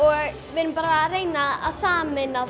við erum að reyna að sameina